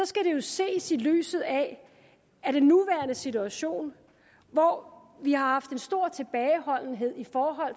skal det jo ses i lyset af den nuværende situation hvor vi haft en stor tilbageholdenhed i